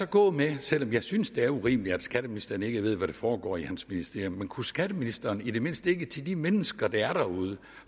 gå med selv om jeg synes det er urimeligt at skatteministeren ikke ved hvad der foregår i hans ministerium men kunne skatteministeren ikke i det mindste til de mennesker der er derude